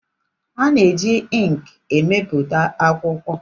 A na-eji ịnkị ebipụta akwụkwọ.